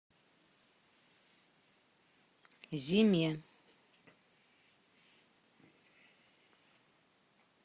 зиме